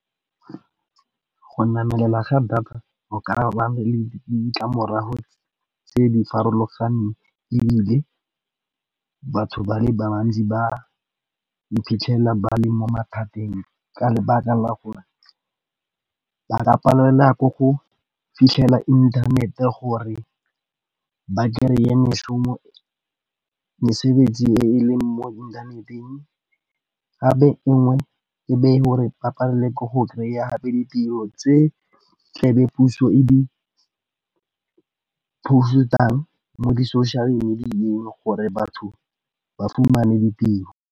Go namelela ga data go ka ba na le ditlamorago tse di farologaneng, ebile batho ba le bantsi ba iphitlhela ba le mo mathateng. Ka lebaka la gore ba ka palelwa ke go fitlhela inthanete gore ba kry-e mešomo, mesebetsi e leng mo inthaneteng. Gape engwe e be gore ba palelwe ke go kry-a gape ditiro tse tla be puso e di-post-ang mo di-social media-eng gore batho ba fumane ditiro.